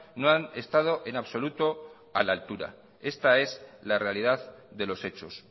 no han estado en absoluto a la altura esta es la realidad de los hechos